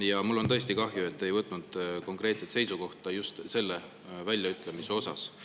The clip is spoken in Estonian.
Ja mul on tõesti kahju, et te ei võtnud konkreetset seisukohta just selle väljaütlemise osas.